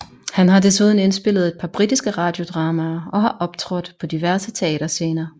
Han har desuden indspillet et par britiske radiodramaer og har optrådt på diverse teaterscener